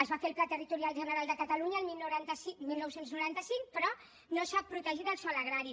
es va fer el pla territorial general de catalunya el dinou noranta cinc però no s’ha protegit el sòl agrari